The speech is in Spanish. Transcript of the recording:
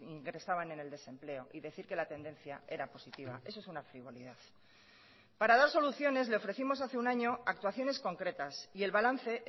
ingresaban en el desempleo y decir que la tendencia era positiva eso es una frivolidad para dar soluciones le ofrecimos hace un año actuaciones concretas y el balance